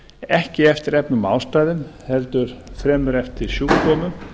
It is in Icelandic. ekki eftir efnum og ástæðum heldur fremur eftir sjúkdómum